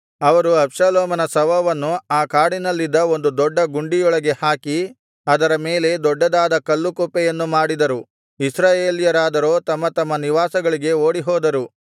ಅವರು ಅಬ್ಷಾಲೋಮನ ಶವವನ್ನು ಆ ಕಾಡಿನಲ್ಲಿದ್ದ ಒಂದು ದೊಡ್ಡ ಗುಂಡಿಯೊಳಗೆ ಹಾಕಿ ಅದರ ಮೇಲೆ ದೊಡ್ಡದಾದ ಕಲ್ಲು ಕುಪ್ಪೆಯನ್ನು ಮಾಡಿದರು ಇಸ್ರಾಯೇಲ್ಯರಾದರೋ ತಮ್ಮ ತಮ್ಮ ನಿವಾಸಗಳಿಗೆ ಓಡಿಹೋದರು